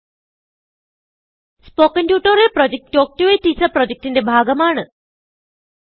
spoken tutorial project talk to a teacher പ്രൊജക്റ്റ്ന്റെ ഭാഗമാണ്